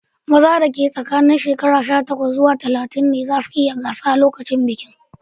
Maza da ke tsakanin shekaru sha takwas zuwa talatin ne zasu iya gasa lokacin bikin.